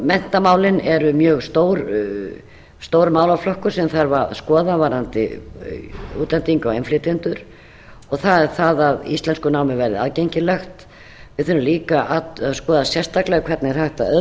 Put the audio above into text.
menntamálin eru mjög stór málaflokkur sem þarf að skoða varðandi útlendinga og innflytjendur og það er það að íslenskunámið verði aðgengilegt við þurfum líka að skoða sérstaklega hvernig er